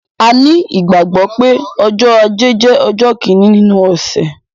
A ní ìgbàgbọ́ pé ọjọ́ ajé jẹ́ ọjọ́ kíni nínú ọ̀sẹ̀